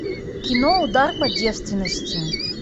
кино удар по девственности